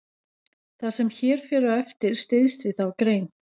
Það sem hér fer á eftir styðst við þá grein.